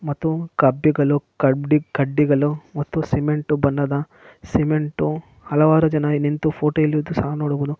ಮತ್ತು ಕಪಿಗಳು ಕಡ್ಡಿಗಳು ಸಿಮೆಂಟು ಸಿಮೆಂಟು ಹಲವಾರು ಇದೆ ನಿಂತು ಫೋಟೋ ಸಹ ನೋಡಬಹುದು.